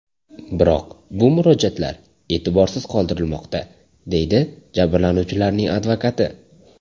Biroq bu murojaatlar e’tiborsiz qoldirilmoqda”, deydi jabrlanuvchilarning advokati.